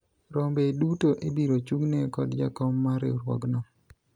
rombe duto ibiro chung'ne kod jakom mar riwruogno